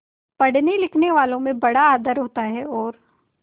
पढ़नेलिखनेवालों में बड़ा आदर होता है और